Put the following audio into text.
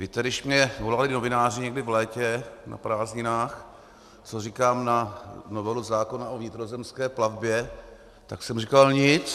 Víte, když mně volali novináři někdy v létě na prázdninách, co říkám na novelu zákona o vnitrozemské plavbě, tak jsem říkal: Nic.